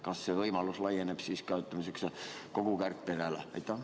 Kas see võimalus laieneb siis ka, ütleme, kogu kärgperele?